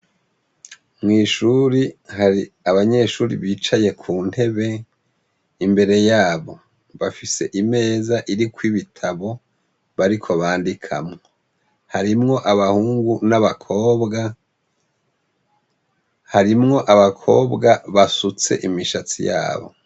Mwishuri hari abanyeshure bicaye kuntebe , imbere yabo bafise imeza irikw'ibitabo bariko bandikamwo barimwo abahungu n'abakobwa , harimwo abakobwa basutse imishatsi yabo .